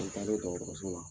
An taa len dɔgɔtɔrɔso la